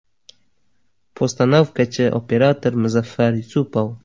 Postanovkachi operator Muzaffar Yusupov.